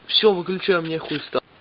все выключай у меня хуй встал